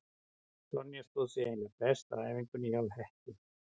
Sonja stóð sig eiginlega best á æfingunni hjá Hetti.